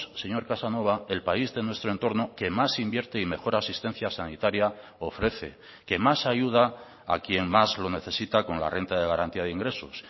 señor casanova el país de nuestro entorno que más invierte y mejor asistencia sanitaria ofrece que más ayuda a quien más lo necesita con la renta de garantía de ingresos